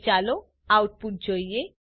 હવે ચાલો આઉટપુટ જોઈએ